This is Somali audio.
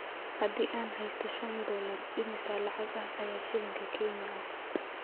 Haddii aan haysto shan doollar, imisa lacag ah ayaa shilinka Kenya ah?